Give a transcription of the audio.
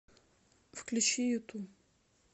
включи юту